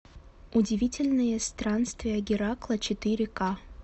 удивительные странствия геракла четыре ка